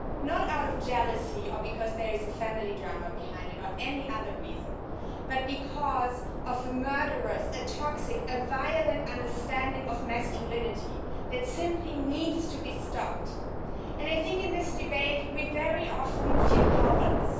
Not out of jealousy or because there is a family drama behind it or any other reason, but because of a murderous, toxic, violent understanding of masculinity that simply needs to be stopped. In this debate, we very often feel powerless.